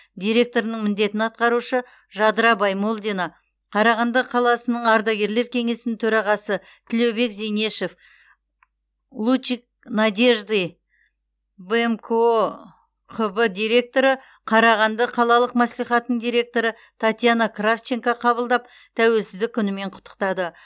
директорының міндетін атқарушы жадыра баймолдина қарағанды қаласының ардагерлер кеңесінің төрағасы тілеубек зейнешев лучик надежды директоры қарағанды қалалық мәслихатының директоры татьяна кравченко қабылдап тәуелсіздік күнімен құттықтады